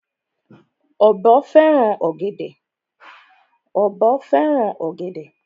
Ọ̀bọ fẹ́ràn ọ̀gẹ̀dè.